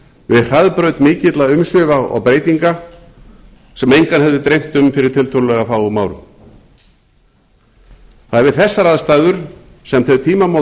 við hraðbraut mikilla umsvifa og breytinga sem engan hefði dreymt um fyrir tiltölulega fáum árum það er við þessar aðstæður sem þau tímamót